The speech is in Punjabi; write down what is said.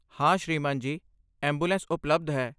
ਹਾਂ ਸ੍ਰੀਮਾਨ ਜੀ, ਐਂਬੂਲੈਂਸ ਉਪਲਬਧ ਹੈ।